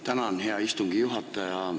Tänan, hea istungi juhataja!